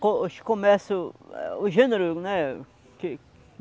Co, hoje começa o é o gênero, né? Que